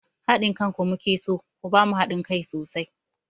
Haɗin kanku mu ke so, ku ba mu haɗin kai sosai!